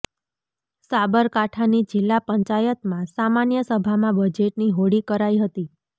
સાબરકાંઠાની જિલ્લા પંચાયતમાં સામાન્ય સભામાં બજેટની હોળી કરાઇ હતી